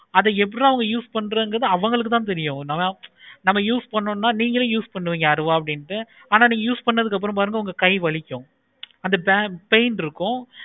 அது எப்புட்றா அவங்க use பன்றாங்க அவங்களுக்கு தான் தெரியும். அத use பண்ணனும்னா எப்படி நீங்களே use பண்ணுவீங்க அருவாள் ஆனா நீங்க use பண்ணதுக்கு அப்பறம் பாருங்க உங்க கை வலிக்கும். அந்த pain இருக்கும்.